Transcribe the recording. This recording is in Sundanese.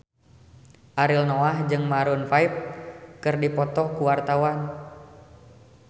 Ariel Noah jeung Maroon 5 keur dipoto ku wartawan